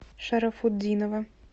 шарафутдинова